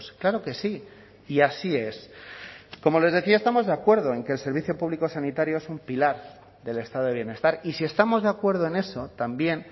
claro que sí y así es como les decía estamos de acuerdo en que el servicio público sanitario es un pilar del estado de bienestar y si estamos de acuerdo en eso también